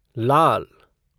लाल